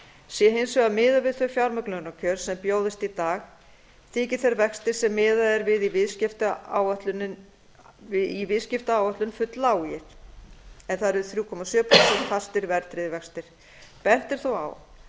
sé hins vegar miðað við þau fjármögnunarkjör sem bjóðast í dag þyki þeir vextir sem miðað er við í viðskiptaáætlun fulllágir þrjú komma sjö prósent fastir verðtryggðir vextir bent er þó á